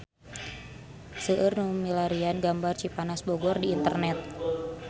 Seueur nu milarian gambar Cipanas Bogor di internet